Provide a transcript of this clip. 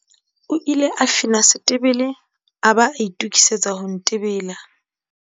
o ile a fina setebele yaba a itokisetsa ho ntebela